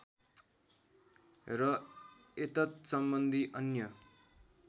र एतत्सम्बन्धी अन्य